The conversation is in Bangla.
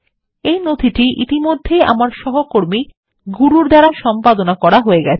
এই নথিটি ইতিমধ্যেই আমার সহকর্মী গুরুর দ্বারা সম্পাদনা করা হয়ে গেছে